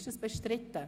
Ist dies bestritten?